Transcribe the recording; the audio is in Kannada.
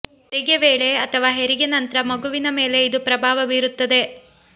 ಹೆರಿಗೆ ವೇಳೆ ಅಥವಾ ಹೆರಿಗೆ ನಂತ್ರ ಮಗುವಿನ ಮೇಲೆ ಇದು ಪ್ರಭಾವ ಬೀರುತ್ತದೆ